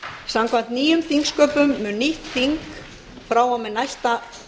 samkvæmt nýjum þingsköpum mun nýtt þing frá og með næsta